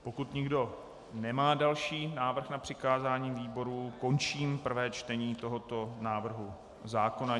Pokud nikdo nemá další návrh na přikázání výborům, končím prvé čtení tohoto návrhu zákona.